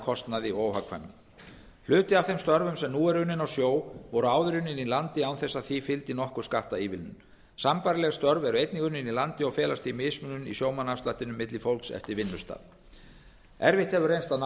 kostnaði og óhagkvæmni hluti af þeim störfum sem nú eru unnin á sjó voru áður unnin í landi án þess að því fylgdi nokkur skattaívilnun sambærileg störf eru einnig unnin í landi og felst því mismunun í sjómannaafslættinum milli fólks eftir vinnustað erfitt hefur reynst að ná